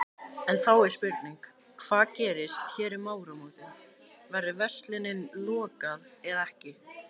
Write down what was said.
En þá er spurning, hvað gerist hér um áramótin, verður versluninni lokað eða ekki?